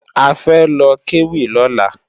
A fẹ́ lọ kéwì lọ́la